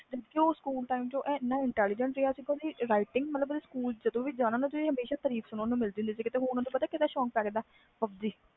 ਉਹ school time ਬਹੁਤ intelligent ਸੀ ਓਹਦੀ handwriting ਦੀ ਬਹੁਤ ਤਾਰੀਫ ਹੁੰਦੀ ਓਹਨੂੰ ਪਤਾ ਕਦਾ ਸ਼ੋਕ ਪੈ ਗਿਆ pub g ਦਾ